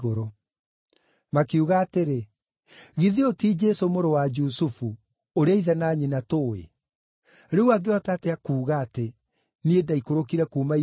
Makiuga atĩrĩ, “Githĩ ũyũ ti Jesũ mũrũ wa Jusufu, ũrĩa ithe na nyina tũũĩ? Rĩu angĩhota atĩa kuuga atĩ, ‘Niĩ ndaikũrũkire kuuma igũrũ’?”